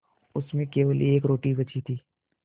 उसमें केवल एक रोटी बची थी